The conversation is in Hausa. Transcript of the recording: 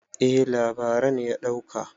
eh labaran ya dauka